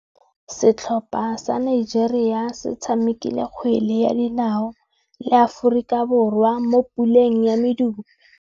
Setlhopha sa Nigeria se tshamekile kgwele ya dinaô le Aforika Borwa mo puleng ya medupe.